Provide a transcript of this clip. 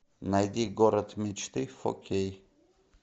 найди город мечты фор кей